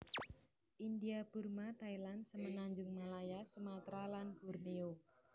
India Burma Thailand Semenanjung Malaya Sumatra lan Borneo